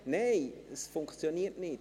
– Nein, es funktioniert nicht.